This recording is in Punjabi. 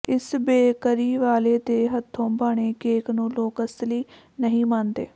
ਇਸ ਬੇਕਰੀ ਵਾਲੇ ਦੇ ਹੱਥੋਂ ਬਣੇ ਕੇਕ ਨੂੰ ਲੋਕ ਅਸਲੀ ਨਹੀਂ ਮੰਨਦੇ